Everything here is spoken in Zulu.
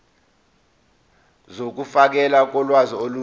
zokufakelwa kolwazi olusha